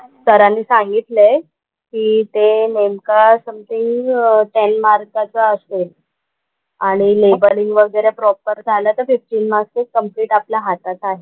सरांनी सांगितलंय कि ते नेमका something ten मार्कांचा असेल, आणि लेबलिंग वगैरे प्रॉपर झाला तर fifteen marks हे कंप्लिट आपल्या हातात आहे.